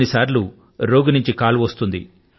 ఒక్కొక్క సారి రోగి వద్ద నుండి ఫోన్ వచ్చేస్తుంది